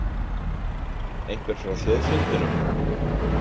Einhver frá þjóðfundinum?